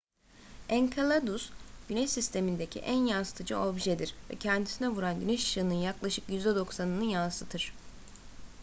enceladus güneş sistemindeki en yansıtıcı objedir ve kendisine vuran güneş ışığının yaklaşık yüzde 90'ını yansıtır